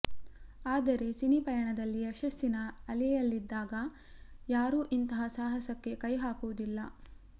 ಆದರೆ ಸಿನಿ ಪಯಣದಲ್ಲಿ ಯಶಸ್ಸಿನ ಅಲೆಯಲ್ಲಿದ್ದಾಗ ಯಾರೂ ಇಂತಹ ಸಾಹಸಕ್ಕೆ ಕೈ ಹಾಕುವುದಿಲ್ಲ